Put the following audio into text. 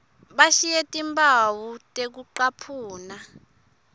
bashiye timphawu tekucaphuna